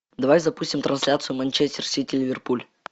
давай запустим трансляцию манчестер сити ливерпуль